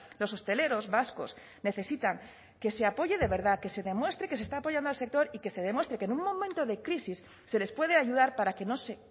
los hosteleros vascos necesitan que se apoye de verdad que se demuestre que se está apoyando al sector y que se demuestre que en un momento de crisis se les puede ayudar para que no se